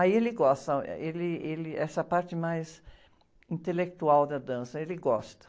Aí ele gosta, ele, ele, essa parte mais intelectual da dança, ele gosta.